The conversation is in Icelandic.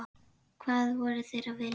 Hvað voru þeir að vilja?